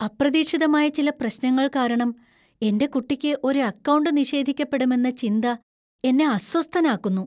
അപ്രതീക്ഷിതമായ ചില പ്രശ്നങ്ങൾ കാരണം എന്‍റെ കുട്ടിക്ക് ഒരു അക്കൗണ്ട് നിഷേധിക്കപ്പെടുമെന്ന ചിന്ത എന്നെ അസ്വസ്ഥനാക്കുന്നു.